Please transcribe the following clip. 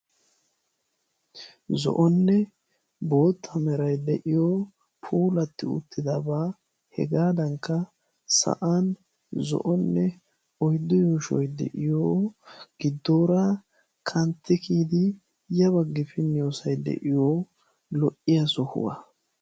zo'onne bootta meray de'iyo poolatti uttidabaa hegaadankka sa'an zo'onne oyddu yooshoy de'iyo giddoora kanttidi yabaggi finniyoosay de'iyo lo"iya sohuwaa.